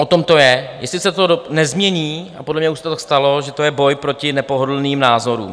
O tom to je, jestli se to nezmění - a podle mě už se to tak stalo - že to je boj proti nepohodlným názorům.